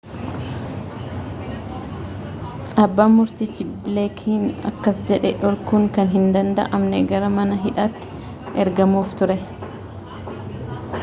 abban murtichi bileekiin akkas jedhe dhorkuun kan hin danda'amne gara mana hidhaati ergamuuf ture